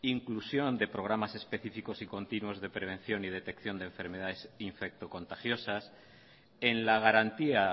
inclusión de programas específicos y continuos de prevención y detección de enfermedades infecto contagiosas en la garantía